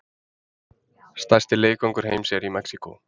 Stærsti leikvangur heims er í Mexíkó